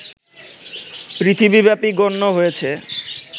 পৃথিবীব্যাপী গণ্য হয়েছে